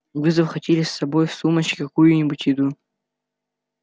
вы захватили с собой в сумочке какую-нибудь еду